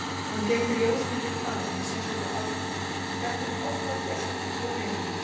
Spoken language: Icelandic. Hann geymdi ljósmyndir þaðan í sérstöku albúmi og hélt þeim oft að gestum og vinum.